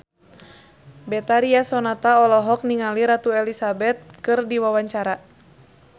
Betharia Sonata olohok ningali Ratu Elizabeth keur diwawancara